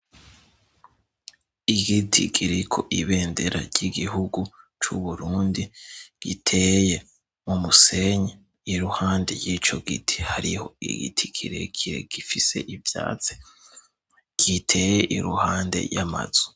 Igiti kiriko ibendera ry'igihugu c'Uburundi, giteye mu musenyi. Iruhande y'ico giti, hariho igiti kirekire gifise ivyatsi, giteye iruhande y'amazu.